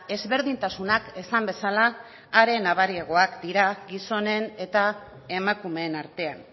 ezberdintasunak esan bezala are nabariagoak dira gizonen eta emakumeen artean